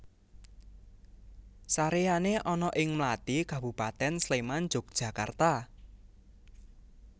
Saréyané ana ing Mlati Kabupatèn Sléman Jogjakarta